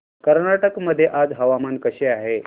कर्नाटक मध्ये आज हवामान कसे आहे